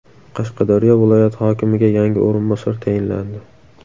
Qashqadaryo viloyati hokimiga yangi o‘rinbosar tayinlandi.